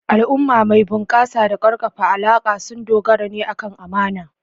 Al'umma mai bunƙasa da ƙaƙƙarfan alaƙa sun dogara ne akan amana.